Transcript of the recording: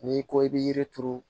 N'i ko i bɛ yiri turu